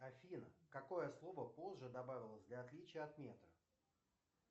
афина какое слово позже добавилось для отличия от метра